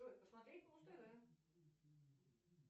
джой посмотреть муз тв